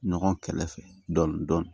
Ɲɔgɔn kɛlɛ fɛ dɔndɔni